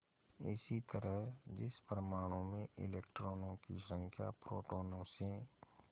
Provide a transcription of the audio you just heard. इसी तरह जिस परमाणु में इलेक्ट्रॉनों की संख्या प्रोटोनों से